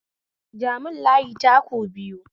Ja mun layi taku biyu